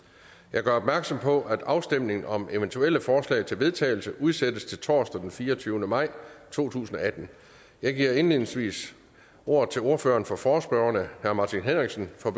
jeg gør opmærksom på at afstemning om eventuelle forslag til vedtagelse udsættes til torsdag den fireogtyvende maj to tusind og atten jeg giver indledningsvis ordet til ordføreren for forespørgerne herre martin henriksen for